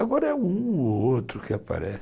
Agora é um ou outro que aparece.